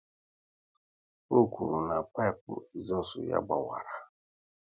Ọ kwụrụ na pipu ezustu ya a gbawara